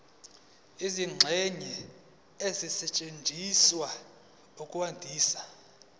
izingxenye ezisetshenziswa ukwandisa